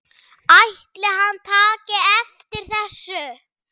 Ætli hann taki eftir þessu?